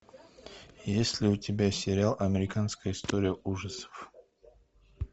есть ли у тебя сериал американская история ужасов